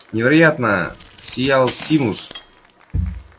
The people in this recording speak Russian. невероятно сиял симус